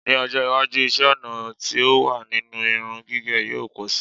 Ní́ ọjọ́ iwájú, iṣẹ́-ọnà tí ó wà nínú irun gígẹ̀ yóò pọ̀ síi.